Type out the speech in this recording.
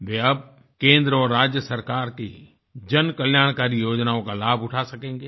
वे अब केंद्र और राज्य सरकार की जनकल्याणकारी योजनाओं का लाभ उठा सकेंगे